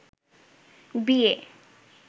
বিয়ে